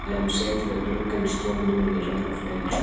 Við höfum setið við gluggann í stofunni minni, í rauða flauelssófanum.